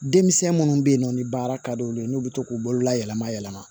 Denmisɛn minnu bɛ yen nɔ ni baara ka d'olu ye n'u bɛ to k'u bolola yɛlɛma yɛlɛma